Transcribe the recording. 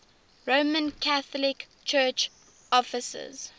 roman catholic church offices